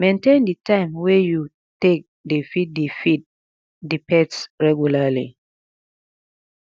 maintain di time wey you take dey feed di feed di pets regularly